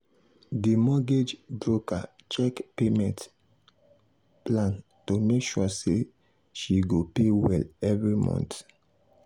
di mortgage broker check payment um plan to make sure say she go pay well every month.